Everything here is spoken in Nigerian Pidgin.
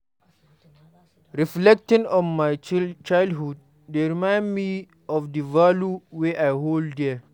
Reflecting on my childhood dey remind me of the values wey I hold dear.